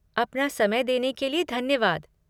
अपना समय देने के लिए धन्यवाद!